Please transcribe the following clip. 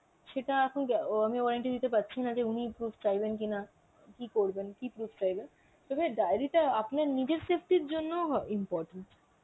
সেটা এখন আমি warranty দিতে পারছি না যে উনি proof চাইবেন কিনা, করবেন কি proof চাইবে, তবে diary টা আপনার নিজের safety এর জন্য হ important.